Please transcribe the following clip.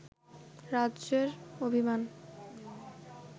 রাজ্যের অভিমান